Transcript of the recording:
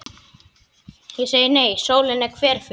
Ég segi nei, sólin er hverful.